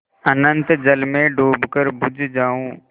अनंत जल में डूबकर बुझ जाऊँ